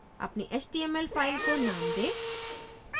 अपनी html file को name दें